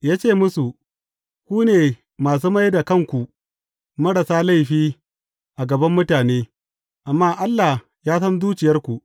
Ya ce musu, Ku ne masu mai da kanku marasa laifi a gaban mutane, amma Allah ya san zuciyarku.